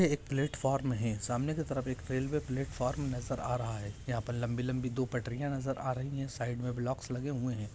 यह एक प्लेटफ्रॉम है सामने की तरफ यह रेलवे प्लेटफ्रॉम नजर आ रहा है यहा लम्बी लम्बी दो पटरियां नजर आ रहा है साईड ब्लाकस लगे हुए है।